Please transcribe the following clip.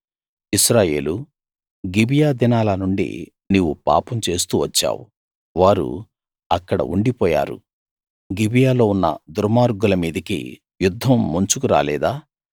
ఇశ్రాయేలూ Gibeah దినాల నుండి నీవు పాపం చేస్తూ వచ్చావు వారు అక్కడ ఉండిపోయారు గిబియాలో ఉన్న దుర్మార్గుల మీదికి యుద్ధం ముంచుకు రాలేదా